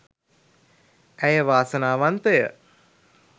ඇය වාසනාවන්තය